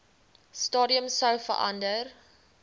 stadium sou verander